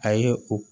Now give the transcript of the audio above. A ye o